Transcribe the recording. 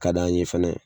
Ka d'an ye fɛnɛ